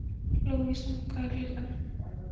Lúvísa, hvað er klukkan?